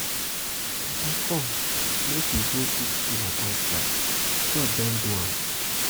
papa come papa come make we go eat dinner outside. god don do am.